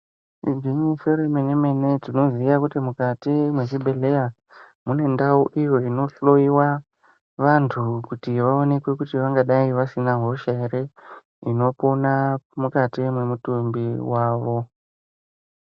Igwinyiso remene mene tinoziya kuti mukati mwezvibhedhlera mune ndau iyo inohloyiwa vantu kuti vaonekwe kuti vangadayi vasina ere hosha inopona mukati mwemutumbi wavo.